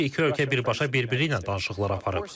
Çünki iki ölkə birbaşa bir-biri ilə danışıqlar aparıb.